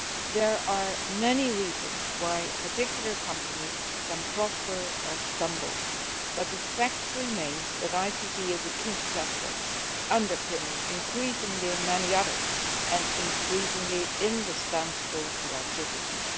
There are many reasons why a particular company can prosper or stumble, but the fact remains that ICT is a key sector, increasingly underpinning many others and increasingly indispensable to our citizens.